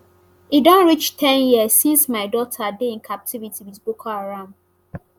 e don reach ten years since my daughter dey in captivity with boko haram